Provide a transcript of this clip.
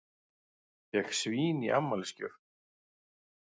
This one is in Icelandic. Fékk svín í afmælisgjöf